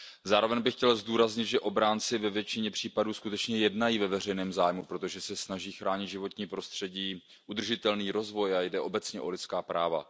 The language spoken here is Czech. Zároveň bych chtěl zdůraznit, že obránci ve většině případů skutečně jednají ve veřejném zájmu, protože se snaží chránit životní prostředí, udržitelný rozvoj a jde obecně o lidská práva.